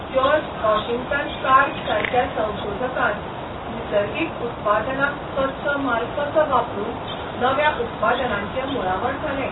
George Washington कार्बरासारक्या संशोधकान निसर्गीक उत्पादनाक कच्चो म्हाल कसो वापरून नव्या उत्पादनांचें मुळावण घालें.